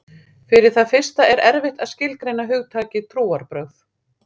Fyrir það fyrsta er erfitt að skilgreina hugtakið trúarbrögð.